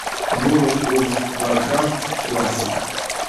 ворлд оф варкрафт классик